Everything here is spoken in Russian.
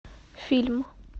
фильм